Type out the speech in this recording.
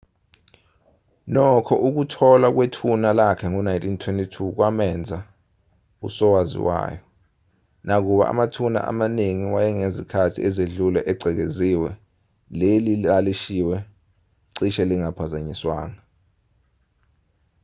nokho ukutholwa kwethuna lakhe ngo-1922 kwamenza usowaziwayo nakuba amathuna amaningi wangezikhathi ezidlule egcekeziwe leli thuna lalishiywe cishe lingaphazanyiswanga